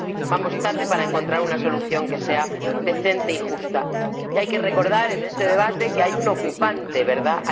Vamos tarde para encontrar una solución que sea decente y justa. Y hay que recordar en este debate que hay un ocupante, ¿verdad?